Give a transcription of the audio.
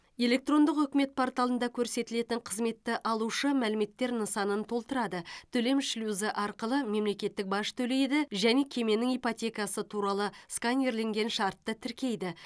электрондық үкімет порталында көрсетілетін қызметті алушы мәліметтер нысанын толтырады төлем шлюзі арқылы мемлекеттік баж төлейді және кеменің ипотекасы туралы сканерленген шартты тіркейді